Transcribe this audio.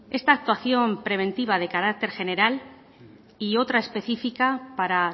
esta actuación preventiva de carácter general y otra específica para